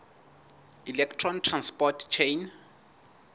electron transport chain